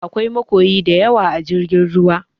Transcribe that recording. Aƙwai makoyi daƴawa a jirgin ruwa.